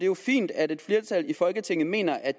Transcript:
jo fint at et flertal i folketinget mener at